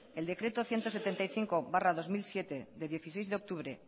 el decreto ciento setenta y cinco barra dos mil siete de dieciséis de octubre